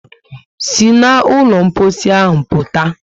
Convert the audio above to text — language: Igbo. Sí na ụlọ mposi ahụ pụta!